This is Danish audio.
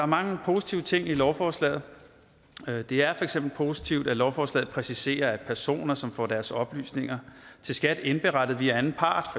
mange positive ting i lovforslaget det er for eksempel positivt at lovforslaget præciserer at personer som får deres oplysninger til skat indberettet via anden part